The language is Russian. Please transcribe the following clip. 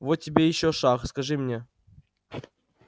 вот тебе ещё шах скажи мне